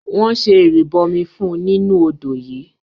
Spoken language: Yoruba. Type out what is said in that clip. wọ́n se “ìrìbọmi” fún un nínú odò yìí.